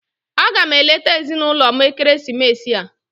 Aga m eleta ezinụlọ m ekeresimesi a.